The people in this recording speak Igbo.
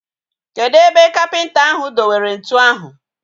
Kedụ ebe kapịnta ahu do were ntụ ahu?